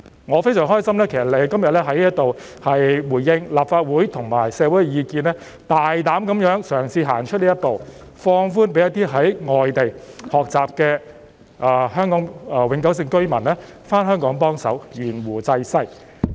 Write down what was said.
我非常高興聽到你今天在這裏回應立法會和社會的意見，大膽嘗試行出這一步，放寬讓在外地學習的香港永久性居民回港幫忙、懸壺濟世。